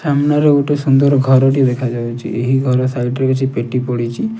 ସାମ୍ନାରେ ଗୋଟେ ସୁନ୍ଦର ଘରଟିଏ ଦେଖାଯାଉଚି ଏହି ଘର ସାଇଟ୍ ରେ କିଛି ପେଟି ପଡ଼ିଚି।